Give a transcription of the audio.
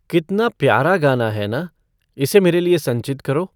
कितना प्यारा गाना है ना इसे मेरे लिए संचित करो